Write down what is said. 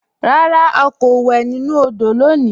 Rárá, à kò wè nínu òdò lónì